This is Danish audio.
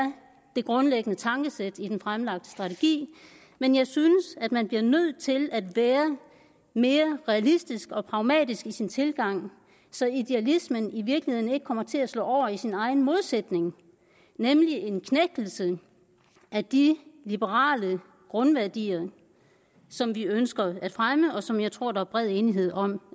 det grundlæggende tankesæt i den fremlagte strategi men jeg synes at man bliver nødt til at være mere realistisk og pragmatisk i sin tilgang så idealismen i virkeligheden ikke kommer til at slå over i sin egen modsætning nemlig en knægtelse af de liberale grundværdier som vi ønsker at fremme og som jeg tror der er bred enighed om